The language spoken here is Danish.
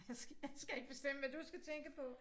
Jeg skal jeg skal ikke bestemme hvad du skal tænke på